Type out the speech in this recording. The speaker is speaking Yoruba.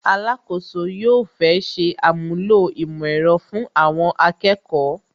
Alakoso yóò fẹ́ ṣe àmúlò ìmọ̀ ẹ̀rọ fun Awon akeko